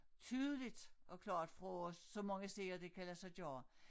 Tydeligt og klart fra så mange steder det kan lade sig gøre